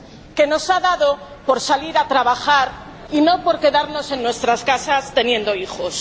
Que nos ha dado por salir a trabajar y no por quedarnos en nuestras casas teniendo hijos.